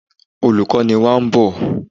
Olùkó wa ń bọ̀.